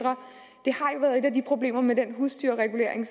problemerne i den husdyrregulering